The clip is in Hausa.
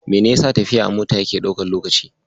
Mene yasa tafiya a mota yake ɗaukan lokaci?